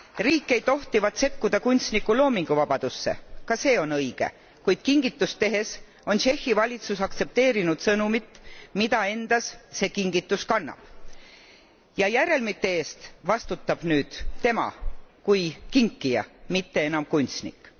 Riik ei tohtivat sekkuda kunstniku loominguvabadusse ka see on õige, kuid kingitust tehes on Tšehhi valitsus aktsepteerinud sõnumit, mida see kingitus endas kannab, ja tagajärgede eest vastutab nüüd tema kui kinkija, mitte enam kunstnik.